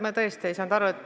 Ma tõesti ei saanud aru.